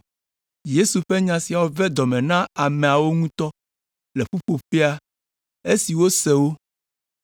Yesu ƒe nya siawo ve dɔ me na ameawo ŋutɔ le ƒuƒoƒea esi wose wo.